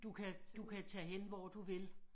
Du kan du kan tage hen hvor du vil